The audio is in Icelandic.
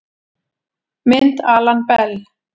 Mynd Alan Bell